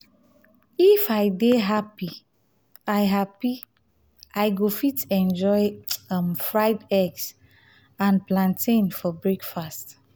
um if i dey happy i happy i go fit enjoy um fried eggs and plantain for breakfast.